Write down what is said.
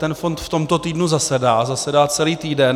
Ten fond v tomto týdnu zasedá, zasedá celý týden.